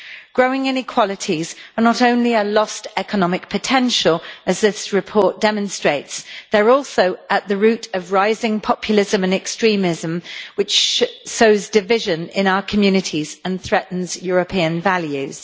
Growing inequalities are not only a lost economic potential, as this report demonstrates, but they are also at the root of rising populism and extremism, which sows division in our communities and threatens European values.